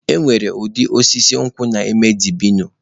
E nwere ụdị osisi nkwụ na-eme dabino